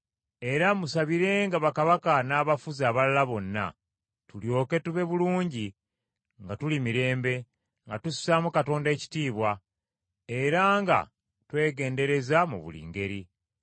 Era musabirenga bakabaka n’abafuzi abalala bonna, tulyoke tube bulungi nga tuli mirembe, nga tussaamu Katonda ekitiibwa, era nga twegendereza mu buli ngeri.